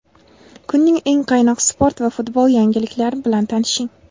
Kunning eng qaynoq sport va futbol yangiliklarni bilan tanishing:.